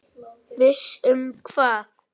Viss um hvað?